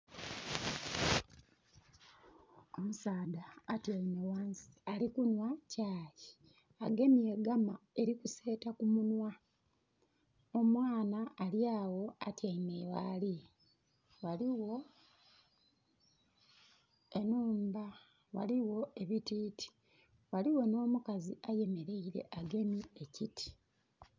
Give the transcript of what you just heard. Omusaadha atyaime wansi ali kunhwa chai. Agemye gama erikuseeta ku munhwa. Omwana alyawo atyaime ghali. Waliwo enhumba waliwo ebititi. Waliwo n'omukazi ayemeleire agemye ekiti.